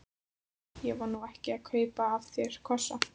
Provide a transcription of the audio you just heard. Ég var nú ekki að kaupa af þér kossa.